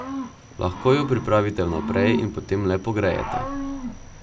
Lahko jo pripravite vnaprej in potem le pogrejete.